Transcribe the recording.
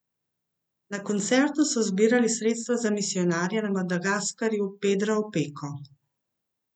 Na koncertu so zbirali sredstva za misijonarja na Madagaskarju Pedra Opeko.